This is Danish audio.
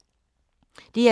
DR2